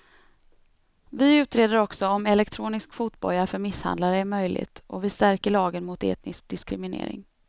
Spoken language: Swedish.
Vi utreder också om elektronisk fotboja för misshandlare är möjligt och vi stärker lagen mot etnisk diskriminering.